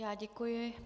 Já děkuji.